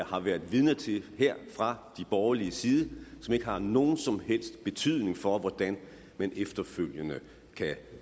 har været vidne til her fra de borgerliges side og som ikke har nogen som helst betydning for hvordan man efterfølgende kan